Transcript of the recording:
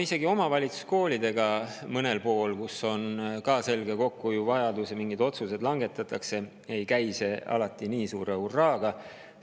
Isegi omavalitsustele koolide puhul ei käi see – mõnel pool, kus on selge kokkuhoiuvajadus ja langetatakse mingeid otsused – alati nii suure hurraaga.